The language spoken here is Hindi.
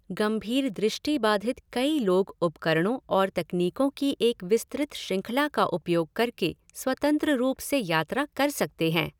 गंभीर दृष्टिबाधित कई लोग उपकरणों और तकनीकों की एक विस्तृत श्रृंखला का उपयोग करके स्वतंत्र रूप से यात्रा कर सकते हैं।